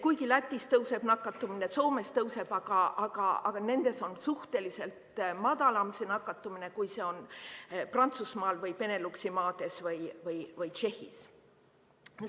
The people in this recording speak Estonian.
Kuigi Lätis tõuseb nakatumine, Soomes tõuseb, aga nendes on suhteliselt madalam nakatumine, kui see on Prantsusmaal või Beneluxi maades või Tšehhis.